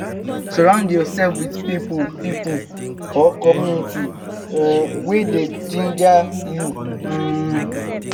surround yourself with pipo pipo or community um wey dey ginger you um